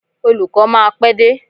Olùkó máa pé dé.